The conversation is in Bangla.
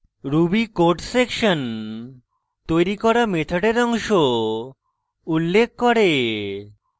ruby code সেকশন তৈরী করা মেথডের অংশ উল্লেখ করে